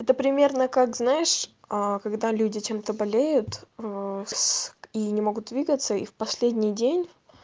это примерно как знаешь аа когда люди чем-то болеют с и не могут видиться и в последний день